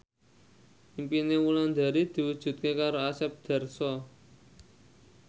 impine Wulandari diwujudke karo Asep Darso